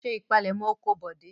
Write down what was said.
Ṣé ìpalẹ́mọ́ oko Bọ̀dé!